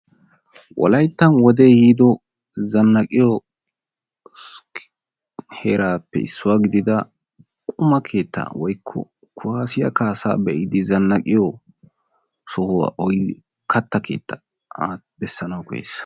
wolayttan wodee ehido zannaqiyoo heerappe issuwaa gidida quma keettaa woykko kuwaasiyaa kaassaa be'idi zannaqiyoo sohuwaa woy katta keettaa bessanawu koyiis.